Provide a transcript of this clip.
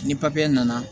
Ni papiye nana